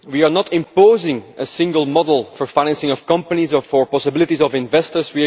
We are not imposing a single model for the financing of companies or for the possibilities of investors.